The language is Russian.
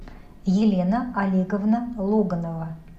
елена олеговна логонова